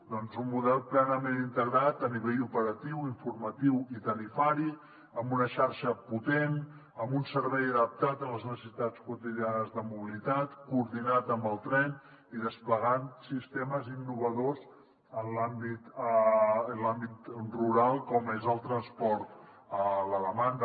doncs un model plenament integrat a nivell operatiu informatiu i tarifari amb una xarxa potent amb un servei adaptat a les necessitats quotidianes de mobilitat coordinat amb el tren i desplegant sistemes innovadors en l’àmbit rural com és el transport a la demanda